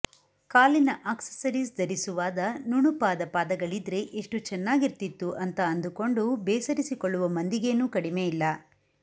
ಕಾಲಿನ ಆಕ್ಸಸರೀಸ್ ಧರಿಸುವಾದ ನುಣುಪಾದ ಪಾದಗಳಿದ್ರೆ ಎಷ್ಟು ಚೆನ್ನಾಗಿರ್ತಿತ್ತು ಅಂತ ಅಂದುಕೊಂಡು ಬೇಸರಿಸಿಕೊಳ್ಳುವ ಮಂದಿಗೇನು ಕಡಿಮೆ ಇಲ್ಲ